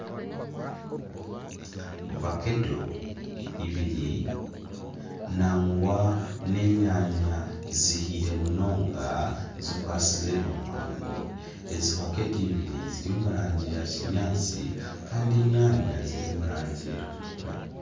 Vakedo ibiri nagwa n'enyaanya zihiire munonga zikwasize omu mwanya gumwe ezi vakedo ibiri ziri omu rangi ya kinyaatsi kandi enyaanya ziri omu rangi erikutukura.